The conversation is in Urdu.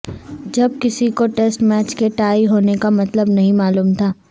جب کسی کو ٹیسٹ میچ کے ٹائی ہونے کا مطلب نہیں معلوم تھا